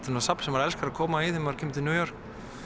safn sem maður elskar að koma í þegar maður kemur til New York